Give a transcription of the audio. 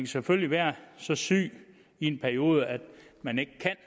selvfølgelig være så syg i en periode at man ikke kan